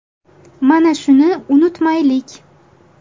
Mana shuni unutmaylik.